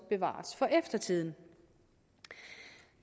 bevares for eftertiden